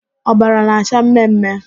Ọbara na-acha mme mme.